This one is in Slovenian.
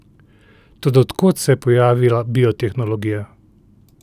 Toda od kod se je pojavila biotehnologija?